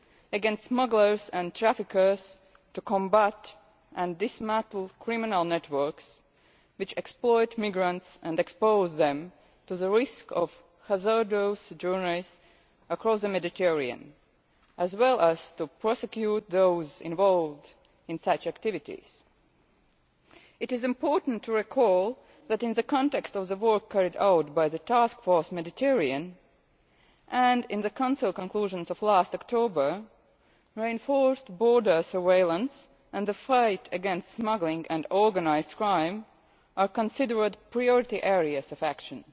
taken against smugglers and traffickers in order to combat and dismantle criminal networks which exploit migrants and expose them to the risk of hazardous journeys across the Mediterranean, as well as to prosecute those involved in such activities. It is important to recall that in the context of the work carried out by the Task Force Mediterranean, and in the Council conclusions of last October, reinforced border surveillance and the fight against smuggling and organised crime are considered priority areas of action.